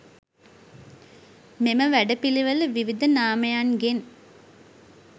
මෙම වැඩ පිළිවෙළ විවිධ නාමයන්ගෙන්